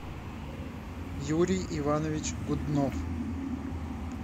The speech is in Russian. юрий иванович гуднов